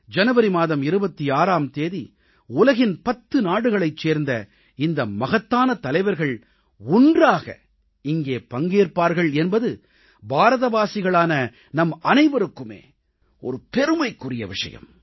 ஜனவரி மாதம் 26ஆம் தேதி உலகின் 10 நாடுகளைச் சேர்ந்த இந்த மகத்தான தலைவர்கள் ஒன்றாக இங்கே பங்கேற்பார்கள் என்பது பாரதவாசிகளான நம்மனைவருக்குமே ஒரு பெருமைக்குரிய விஷயம்